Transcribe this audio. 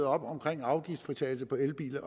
op om afgiftsfritagelse for elbiler